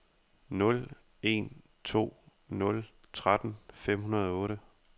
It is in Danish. nul en to nul tretten fem hundrede og otte